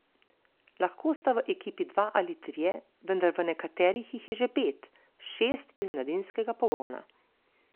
Lahko sta v ekipi dva ali trije, vendar v nekaterih jih je že pet, šest iz mladinskega pogona.